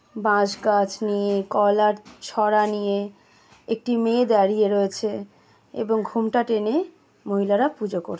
বাঁশ গাছ নিয়ে কলার ছড়া নিয়ে একটি মেয়ে দাঁড়িয়ে রয়েছে এবং ঘোমটা টেনে মহিলারা পূজা করছে ।